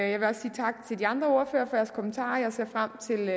jeg vil også sige tak til de andre ordførere for deres kommentarer jeg ser frem til